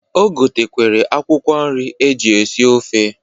O gotekwere akwụkwọ nri eji esi ofe.